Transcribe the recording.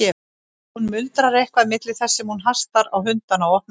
Hún muldrar eitthvað milli þess sem hún hastar á hundana og opnar hliðið.